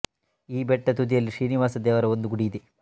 ಈ ಬೆಟ್ಟದ ತುದಿಯಲ್ಲಿ ಶ್ರೀನಿವಾಸ ದೇವರ ಒಂದು ಗುಡಿ ಇದೆ